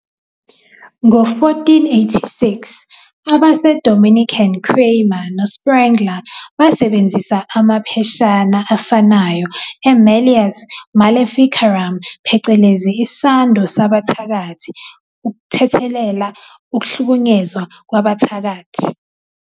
"Ngo-1486, abaseDominican Kramer noSprengler basebenzisa amapheshana afanayo "eMalleus Maleficarum" phecelezi "Isando Sabathakathi", ukuthethelela ukuhlukunyezwa "kwabathakathi".